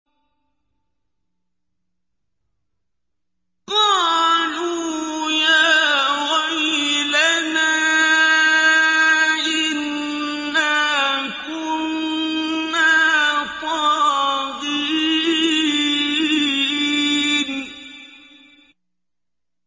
قَالُوا يَا وَيْلَنَا إِنَّا كُنَّا طَاغِينَ